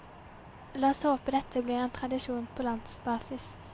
La oss håpe dette blir en tradisjon på landsbasis.